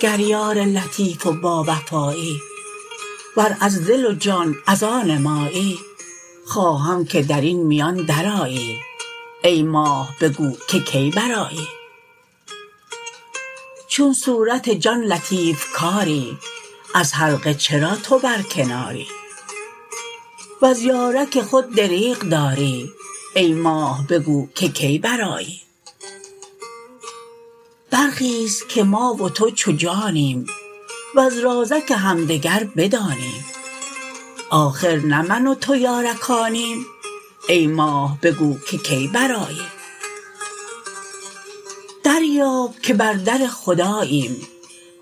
گر یار لطیف و باوفایی ور از دل و جان از آن مایی خواهم که در این میان درآیی ای ماه بگو که کی برآیی چون صورت جان لطیف کاری از حلقه چرا تو برکناری وز یارک خود دریغ داری ای ماه بگو که کی برآیی برخیز که ما و تو چو جانیم وز رازک همدگر بدانیم آخر نه من و تو یارکانیم ای ماه بگو که کی برآیی دریاب که بر در خداییم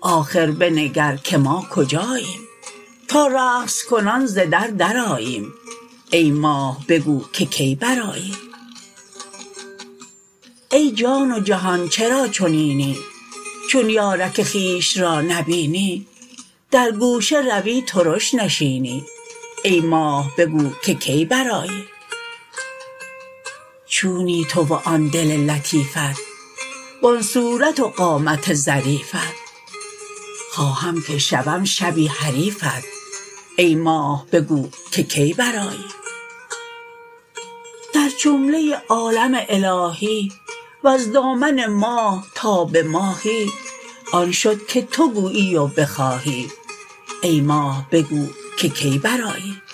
آخر بنگر که ما کجاییم تا رقص کنان ز در درآییم ای ماه بگو که کی برآیی ای جان و جهان چرا چنینی چون یارک خویش را نبینی در گوشه روی ترش نشینی ای ماه بگو که کی برآیی چونی تو و آن دل لطیفت و آن صورت و قامت ظریفت خواهم که شوم شبی حریفت ای ماه بگو که کی برآیی در جمله عالم الهی وز دامن ماه تا به ماهی آن شد که تو گویی و بخواهی ای ماه بگو که کی برآیی